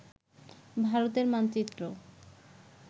ভারতের মানচিত্র